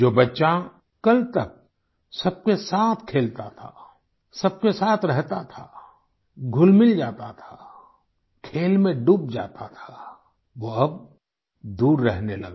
जो बच्चा कल तक सबके साथ खेलता था सबके साथ रहता था घुलमिल जाता था खेल में डूब जाता था वो अब दूर रहने लगा